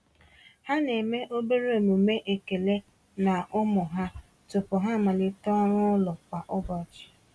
Ha na-eme obere omume ekele na ụmụ ha tupu ha amalite ọrụ ụlọ kwa ụbọchị.